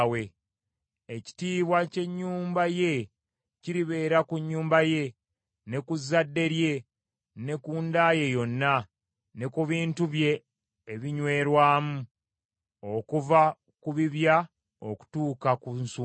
Ekitiibwa ky’ennyumba ye kiribeera ku nnyumba ye, ne ku zadde lye ne ku nda ye yonna, ne ku bintu bye ebinywerwamu, okuva ku bibya okutuuka ku nsumbi.”